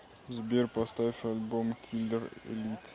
сбер поставь альбом киллер элит